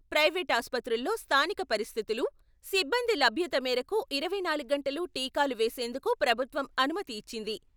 Private ఆసుపత్రుల్లో స్థానిక పరిస్థితులు, సిబ్బంది లభ్యత మేరకు ఇరవై నాలుగు గంటలూ టీకాలు వేసేందుకు ప్రభుత్వం అనుమతి ఇచ్చింది.